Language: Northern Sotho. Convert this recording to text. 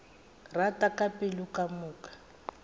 rata ka pelo ka moka